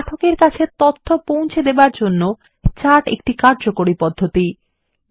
পাঠকের কাছে তথ্য পৌঁছে দেওয়ার জন্য চার্ট কার্যকরী পদ্ধতি হতে পারে